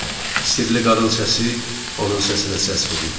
Sirli qadın səsi onun səsinə səs verirdi.